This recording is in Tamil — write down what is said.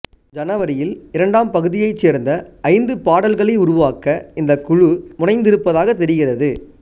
ஜனவரியில் இரண்டாம் பகுதியைச் சேர்ந்த ஐந்து பாடல்களை உருவாக்க இந்த குழு முனைந்திருப்பதாக தெரிகிறது